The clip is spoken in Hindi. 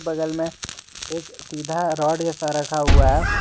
बगल में एक सीधा रॉड जैसा रखा हुआ है।